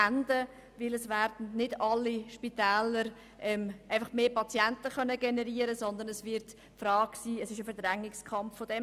Denn es werden nicht alle Spitäler mehr Patienten generieren können, sondern es wird zu einem Verdrängungskampf kommen.